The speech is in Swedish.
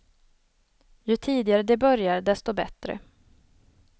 Ju tidigare de börjar, desto bättre.